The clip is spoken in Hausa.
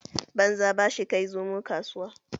Banza ba shi kai Zomo kasuwa